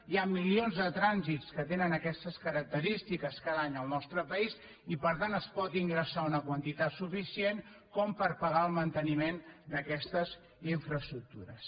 hi ha milions de trànsits que tenen aquestes característiques cada any al nostre país i per tant es pot ingressar una quantitat suficient com per pagar el manteniment d’aquestes infraestructures